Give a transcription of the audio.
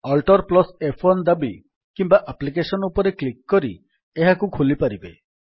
AltF1 ଦାବି କିମ୍ୱା application ଉପରେ କ୍ଲିକ୍ କରି ଏହାକୁ ଖୋଲିପାରିବେ